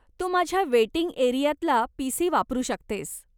तू माझ्या वेटिंग एरियातला पीसी वापरू शकतेस.